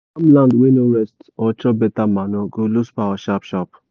farmland wey no rest or chop beta manure go lose power sharp sharp.